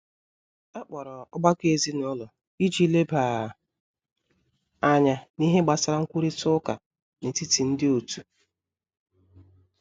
Akpọrọ ọgbakọ ezinụlọ iji leba anya n'ihe gbasara nkwurita uká n'etiti ndi otu.